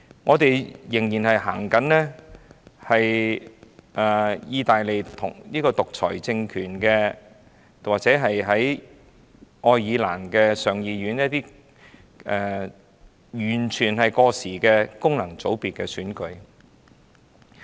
我們仍然實行意大利的獨裁政權，仍採用愛爾蘭上議院完全過時的功能界別選舉。